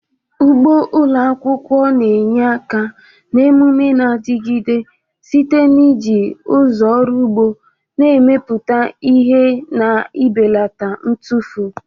Ugbo ụlọ akwụkwọ na-enye aka na omume na-adigide site n'iji ụzọ ọrụ ugbo na-emepụta ihe na ibelata ntufu.